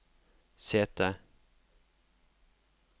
sete